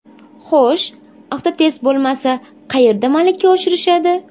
Xo‘sh, Avtotest bo‘lmasa, qayerda malaka oshirishadi?